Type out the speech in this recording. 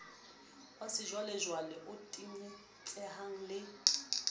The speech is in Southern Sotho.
wa sejwalejwale o tenyetsehang le